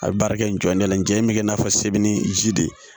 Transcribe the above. A bɛ baara kɛ nɔn de la n jɛ in bɛ kɛ i n'a fɔ sebeni ji de ye